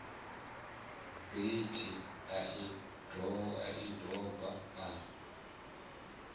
getheni a i doba a